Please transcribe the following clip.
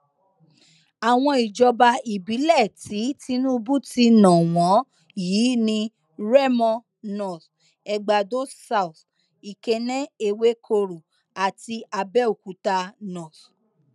àwọn ìjọba ìbílẹ tí tinubu ti ná wọn yìí ni remo north egbàdo south ikenne ewekoro àti abéokúta north